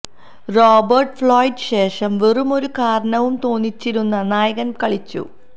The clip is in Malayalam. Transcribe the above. റോബർട്ട് ഫ്ലോയ്ഡ് ശേഷം വെറും ഒരു കാരണവും തോന്നിച്ചിരുന്ന നായകൻ കളിച്ചു